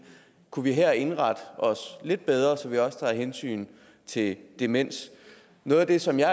kunne vi her indrette os lidt bedre så vi også tager hensyn til demens noget af det som jeg